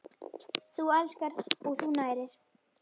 Þú elskar og þú nærir.